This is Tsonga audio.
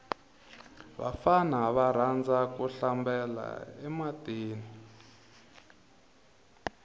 vafana va rhandza ku hlambela e matini